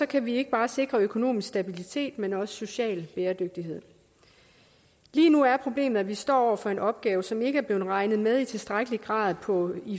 kan vi ikke bare sikre økonomisk stabilitet men også social bæredygtighed lige nu er problemet at vi står over for en opgave som ikke er blevet regnet med i tilstrækkelig grad på